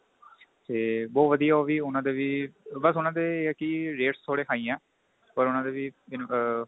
ਤੇ ਬਹੁਤ ਵਧੀਆ ਉਹ ਵੀ ਉਹਨਾ ਦੇ ਵੀ ਬੱਸ ਉਹਨਾ ਦੇ rates ਥੋੜੇ high ਏ ਪਰ ਉਹਨਾ ਦੇ ਵੀ ਆ